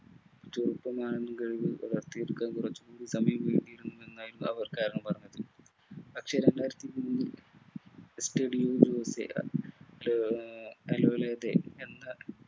ചെറുപ്പ നാളുകളിൽ കുറച്ചു എന്നായിരുന്നു അവർ കാരണം പറഞ്ഞിരുന്നത് പക്ഷെ രണ്ടായിരത്തി ഒക്കെ ആഹ് ഏർ എന്ന